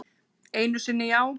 Einu sinni já.